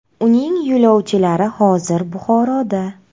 Uning yo‘lovchilari hozir Buxoroda.